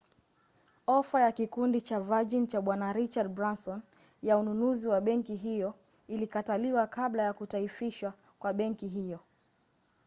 ofa ya kikundi cha virgin cha bwana richard branson ya ununuzi wa benki hiyo ilikataliwa kabla ya kutaifishwa kwa benki hiyo